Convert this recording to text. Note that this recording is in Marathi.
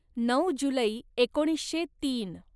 नऊ जुलै एकोणीसशे तीन